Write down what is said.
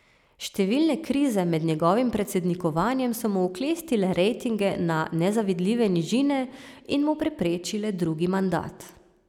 Številne krize med njegovim predsednikovanjem so mu oklestile rejtinge na nezavidljive nižine in mu preprečile drugi mandat.